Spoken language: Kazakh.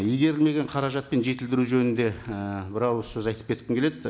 игерілмеген қаражат пен жетілдіру жөнінде і бір ауыз сөз айтып кеткім келеді